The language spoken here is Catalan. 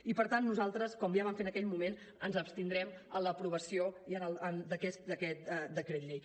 i per tant nosaltres com ja vam fer en aquell moment ens abstindrem en l’aprovació d’aquest decret llei